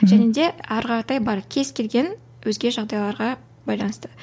және де әрі қаратай бар кез келген өзге жағдайларға байланысты